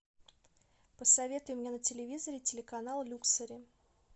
посоветуй мне на телевизоре телеканал люксори